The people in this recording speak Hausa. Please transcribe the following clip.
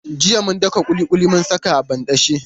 Jiya mun daka ƙuliƙuli mun saka a banɗace.